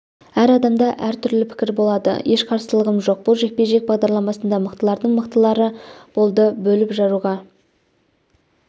әр адамда әр түрлі пікір болады еш қарсылығым жоқ бұл жекпе-жек бағдарламасында мықтылардың мықтылары болды бөліп-жаруға